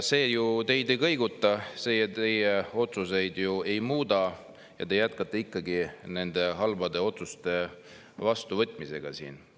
See ju teid ei kõiguta, see teie otsuseid ei muuda ja te jätkate ikkagi nende halbade otsuste vastuvõtmist siin.